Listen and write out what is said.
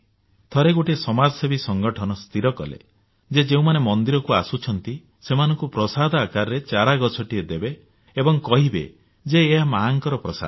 ଥରେ ଗୋଟିଏ ସମାଜସେବୀ ସଂଗଠନ ସ୍ଥିର କଲେ ଯେ ଯେଉଁମାନେ ମନ୍ଦିରକୁ ଆସୁଛନ୍ତି ସେମାନଙ୍କୁ ପ୍ରସାଦ ଆକାରରେ ଚାରା ଗଛଟିଏ ଦେବେ ଏବଂ କହିବେ ଯେ ଏହା ମାଆଙ୍କର ପ୍ରସାଦ